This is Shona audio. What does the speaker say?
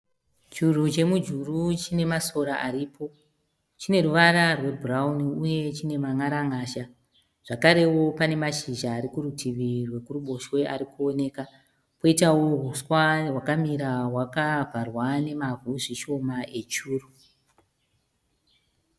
Churu chemujuru chinemasora aripo chine ruvara rwe bhurauni uye chineman'aran'azha. Zvakarewo pane mashizha arikurutivi rwekuruboshwe arikuoneka, poitawo uswa hwakamira hwakavharwa zvishoma nemavhu echuru.